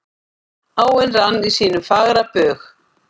Áin rann í sínum fagra bug.